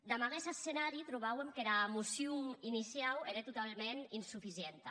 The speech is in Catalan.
damb aguest escenari trobàuem que era mocion iniciau ére totaument insuficienta